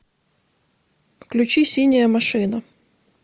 включи синяя машина